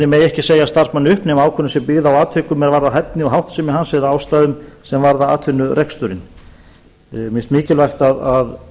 megi ekki segja starfsmanni upp nema ákvörðun sé byggð á atvikum er varðar hæfni og háttsemi hans eða ástæðum sem varða atvinnureksturinn mér finnst mikilvægt að